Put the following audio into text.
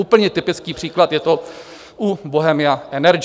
Úplně typický příklad je to u Bohemia Energy.